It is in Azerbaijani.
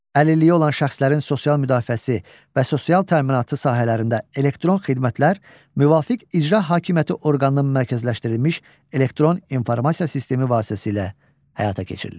Əlilliyi olan şəxslərin sosial müdafiəsi və sosial təminatı sahələrində elektron xidmətlər müvafiq icra hakimiyyəti orqanının mərkəzləşdirilmiş elektron informasiya sistemi vasitəsilə həyata keçirilir.